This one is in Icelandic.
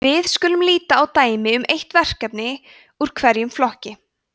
við skulum líta á dæmi um eitt verkefni úr hverjum flokki